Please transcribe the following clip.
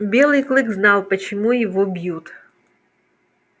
белый клык знал почему его бьют